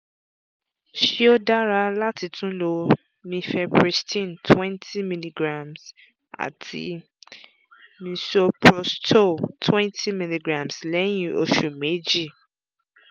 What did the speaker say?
ṣé ó dára láti tún lo mifepristone two hundred mg àti misoprostol two hundred mg lẹ́yìn oṣù méjì?